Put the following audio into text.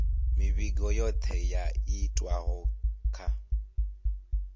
mivhigo yothe yo itwaho kha